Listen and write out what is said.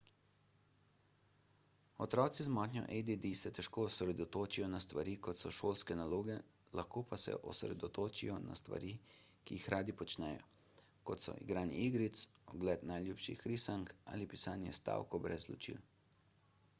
otroci z motnjo add se težko osredotočijo na stvari kot so šolske naloge lahko pa se osredotočijo na stvari ki jih radi počnejo kot so igranje igric ogled najljubših risank ali pisanje stavkov brez ločil